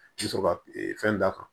I bɛ sɔrɔ ka fɛn d'a kan